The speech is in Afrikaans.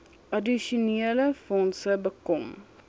addisionele fondse bekom